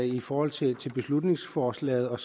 i forhold til beslutningsforslaget og